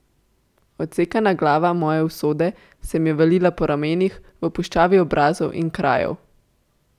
Odsekana glava moje usode se mi je valila po ramenih, v puščavi obrazov in krajev.